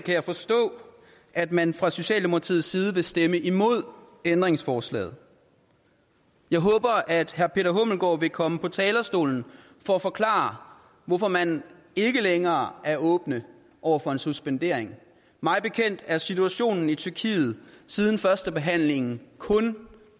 kan jeg forstå at man fra socialdemokratiets side vil stemme imod ændringsforslaget jeg håber at herre peter hummelgaard thomsen vil komme på talerstolen for at forklare hvorfor man ikke længere er åbne over for en suspendering mig bekendt er situationen i tyrkiet siden førstebehandlingen kun